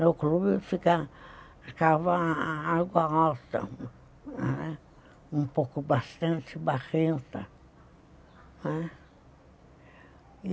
No clube ficava água alta, um pouco bastante barrenta, não é.